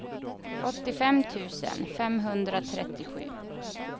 åttiofem tusen femhundratrettiosju